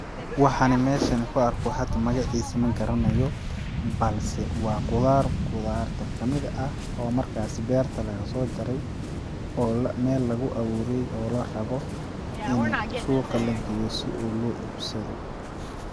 Waxan meshan kuarko hada magaciisa ma garanayo, balse waa qudaar qudaarta kamid ah oo markaasi berta lagasoo jarey oo mel lagu aruuriye oo larabo ini suuqa lageeyo si loo ibsado.